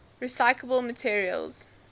recyclable materials